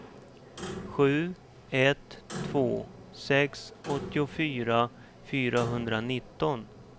sju ett två sex åttiofyra fyrahundranitton